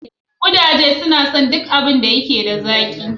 Kudaje suna son duk abin da yake da zaƙi.